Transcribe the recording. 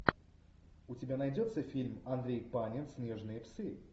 у тебя найдется фильм андрей панин снежные псы